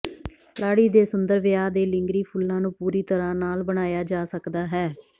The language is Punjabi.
ਲਾੜੀ ਦੇ ਸੁੰਦਰ ਵਿਆਹ ਦੇ ਲਿੰਗਰੀ ਫੁੱਲਾਂ ਨੂੰ ਪੂਰੀ ਤਰ੍ਹਾਂ ਨਾਲ ਬਣਾਇਆ ਜਾ ਸਕਦਾ ਹੈ